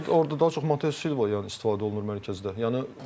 Amma açığı orda daha çox Mateus Silva yəni istifadə olunur mərkəzdə.